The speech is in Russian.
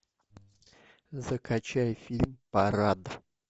закачай фильм парад